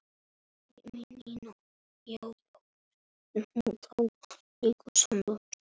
Sporin hræða.